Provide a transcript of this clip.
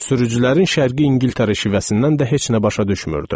Sürücülərin şərqi İngiltərə şivəsindən də heç nə başa düşmürdüm.